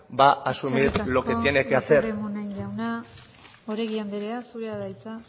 va a asumir lo que tiene que hacer eskerrik asko lópez de munain jauna oregi andrea zurea da hitza